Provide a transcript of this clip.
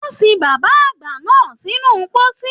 Wọn sìn bàbá àgbà náà sínú pósí.